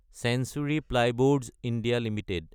century Plyboards (India) Ltd